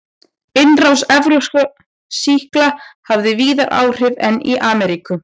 Innrás evrópskra sýkla hafði víðar áhrif en í Ameríku.